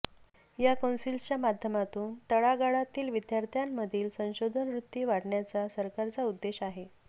या कौन्सिलच्या माध्यमातून तळागाळातील विद्यार्थ्यांमधील संशोधन वृत्ती वाढवण्याचा सरकारचा उद्देश आहे